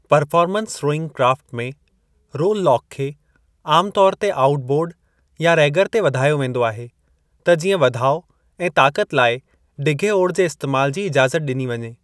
Performance rowing craft में, rowlock खे आमु तौर ते आऊट बोर्डु या रैगर ते वधायो वेंदो आहे त जीअं वधाउ ऐं ताक़त लाइ डिघे ओड़ जे इस्तेमाल जी इजाज़त ॾिनी वञे ।